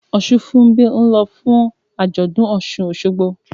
Osunfunbi ń lọ fún àjọ̀dún Osun-Osogbo